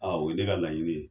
o ye ne ka laɲini ye.